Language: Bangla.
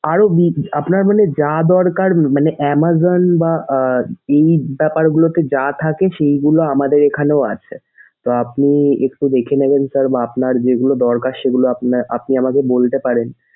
আরো বি আপনার মানে যা দরকার মানে amazon বা আহ এই ব্যাপারগুলোতে যা থাকে সেইগুলো আমাদের এইখানেও আছে। তো আপনি একটু দেখে নেবেন sir বা আপনার যেগুলো দরকার সেগুলো আপনি আমাদের বলতে পারেন।